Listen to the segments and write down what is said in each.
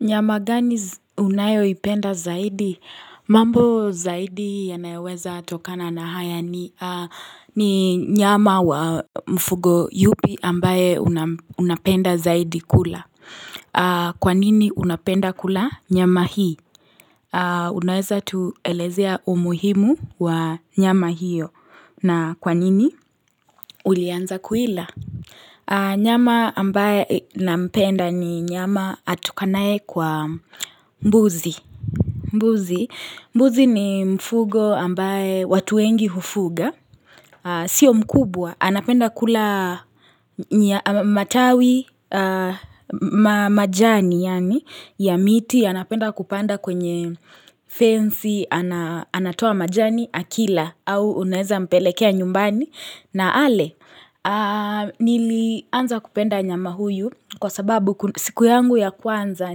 Nyama gani unayo ipenda zaidi? Mambo zaidi yanayoweza tokana na haya ni nyama wa mfugo yupi ambaye unapenda zaidi kula. Kwa nini unapenda kula nyama hii? Unaweza tuelezea umuhimu wa nyama hiyo. Na kwanini ulianza kuila? Nyama ambaye na mpenda ni nyama atokanae kwa mbuzi. Mbuzi ni mfugo ambaye watuwengi hufuga. Sio mkubwa. Anapenda kula matawi majani ya miti. Anapenda kupanda kwenye fency. Anatoa majani akila au unaeza mpelekea nyumbani. Na ale nili anza kupenda nyama huyu kwa sababu siku yangu ya kwanza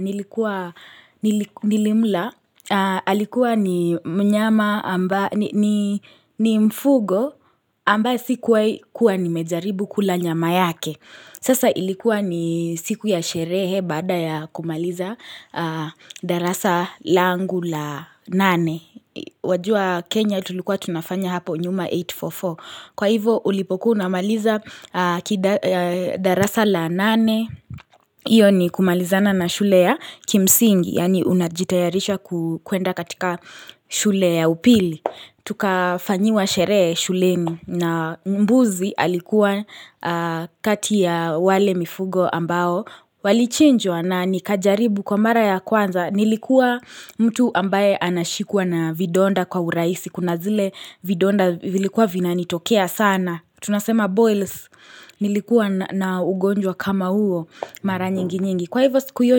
nilikuwa nilimla Alikuwa ni mfugo ambaye sikuwa nimejaribu kula nyama yake Sasa ilikuwa ni siku ya sherehe baada ya kumaliza darasa langu la nane Wajua Kenya tulikuwa tunafanya hapo nyuma 844 Kwa hivo ulipokuwa unamaliza darasa la nane, iyo ni kumalizana na shule ya kimsingi, yani unajitayarisha kuenda katika shule ya upili. Tuka fanyiwa sherehe shuleni na mbuzi alikuwa kati ya wale mifugo ambao walichinjwa na nikajaribu kwa mara ya kwanza nilikuwa mtu ambaye anashikuwa na vidonda kwa urahisi kuna zile vidonda vilikuwa vina nitokea sana tunasema boils nilikuwa na ugonjwa kama huo mara nyingi nyingi. Kwa hivyo siku hiyo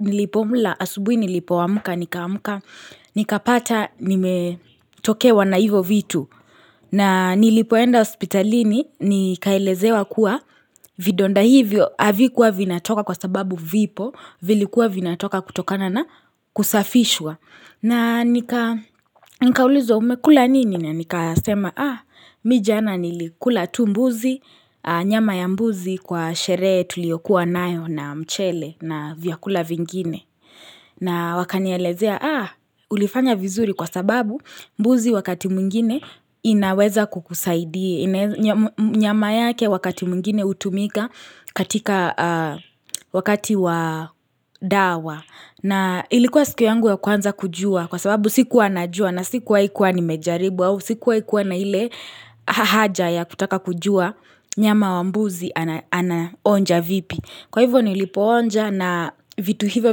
nilipomula asubwi nilipo amuka nikaamuka nikapata nimetokewa na hivyo vitu na nilipoenda hospitalini nikaelezewa kuwa Vidonda hivyo havikuwa vinatoka kwa sababu vipo vilikuwa vinatoka kutokana na kusafishwa na nikaulizwa umekula nini na nika sema Ah mi jana nilikula tu mbuzi nyama ya mbuzi kwa sherehe tuliyokuwa nayo na mchele na vyakula vingine na wakanielezea ah ulifanya vizuri kwa sababu mbuzi wakati mwingine inaweza kukusaidia nyama yake wakati mwingine utumika katika wakati wa dawa na ilikuwa siku yangu ya kwanza kujua kwa sababu siku najua na sikuwahi kuwa nimejaribu au sikuwai kuwa na ile haja ya kutaka kujua nyama wa mbuzi ana onja vipi Kwa hivyo nilipo onja na vitu hivyo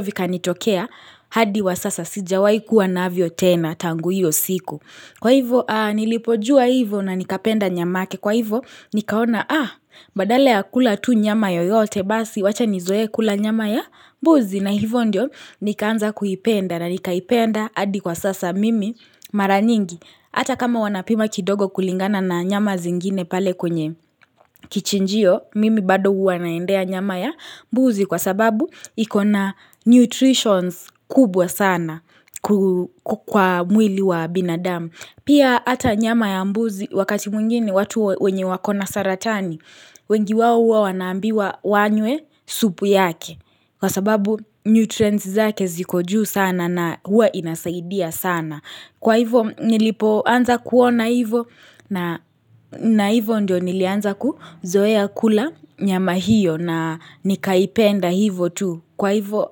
vika nitokea hadi wa sasa sijawai kuwa navyo tena tangu hiyo siku. Kwa hivyo nilipojua hivyo na nikapenda nyamake kwa hivyo nikaona ah badala ya kula tu nyama yoyote basi wacha nizoe kula nyama ya mbuzi na hivyo ndio nikaanza kuipenda na nikaipenda hadi kwa sasa mimi mara nyingi. Ata kama wanapima kidogo kulingana na nyama zingine pale kwenye kichinjio, mimi bado huwa naendea nyama ya mbuzi kwa sababu iko na nutritions kubwa sana kwa mwili wa binadamu. Pia ata nyama ya mbuzi wakati mwingine watu wenye wako na saratani, wengi wao hua wanaambiwa wanywe supu yake. Kwa sababu nutrients zake ziko juu sana na huwa inasaidia sana. Kwa hivo nilipo anza kuona hivo na hivo ndio nilianza kuzoea kula nyama hiyo na nikaipenda hivo tu. Kwa hivo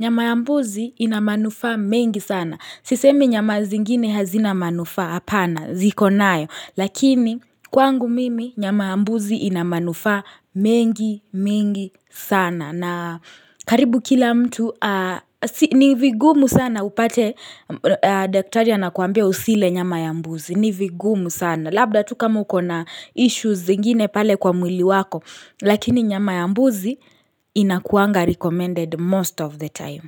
nyama ya mbuzi ina manufaa mengi sana. Sisemi nyama zingine hazina manufaa hapana ziko nayo. Lakini kwangu mimi nyama ya mbuzi ina manufaa mengi mingi sana. Na karibu kila mtu, nivigumu sana upate daktaria anakuambia usile nyama ya mbuzi. Nivigumu sana. Labda tu kama ako na issues zingine pale kwa mwili wako, lakini nyama ya mbuzi inakuanga recommended most of the time.